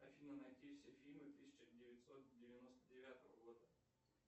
афина найти все фильмы тысяча девятьсот девяносто девятого года